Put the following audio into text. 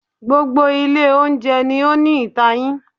Gbogbo ilé oúnjẹ ni ó ní itayin.